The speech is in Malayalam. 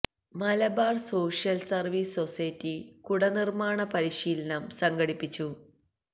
മലബാര് സോഷ്യല് സര്വ്വീസ് സൊസൈറ്റി കുട നിര്മ്മാണ പരിശീലനം സംഘടിപ്പിച്ചു